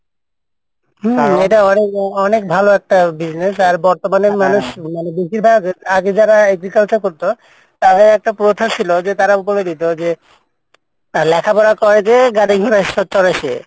হুম এটা অনেক, অনেক ভালো একটা business আর বর্তমানে মানুষ আগে যারা agriculture করতো তাদের একটা প্রথা ছিল যে তারা করতো লেখাপড়া করে যে গাড়ি ঘোড়া চড়ে সে,